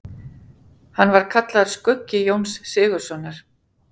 Hann var kallaður skuggi Jóns Sigurðssonar.